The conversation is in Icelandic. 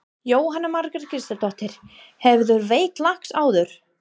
Jóhanna Margrét Gísladóttir: Hefurðu veitt lax áður?